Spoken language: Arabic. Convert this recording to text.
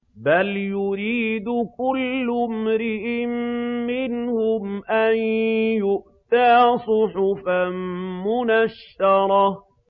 بَلْ يُرِيدُ كُلُّ امْرِئٍ مِّنْهُمْ أَن يُؤْتَىٰ صُحُفًا مُّنَشَّرَةً